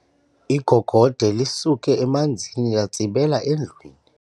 Igogode lisuke emanzini latsibela endlwini.